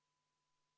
See ei ole pisiküsimus.